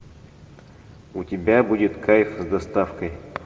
у тебя будет кайф с доставкой